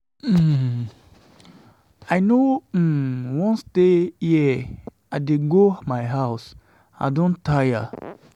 um I no um wan stay here, I dey go my house, I don tire. um